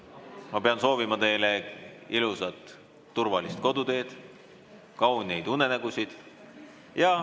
Ma pean soovima teile ilusat ja turvalist koduteed ja kauneid unenägusid.